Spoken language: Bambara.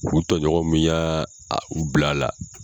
U tɔ ɲɔgɔn min y'a a u bil'a la